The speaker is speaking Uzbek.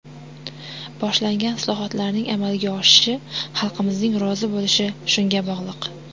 Boshlangan islohotlarning amalga oshishi, xalqimizning rozi bo‘lishi shunga bog‘liq.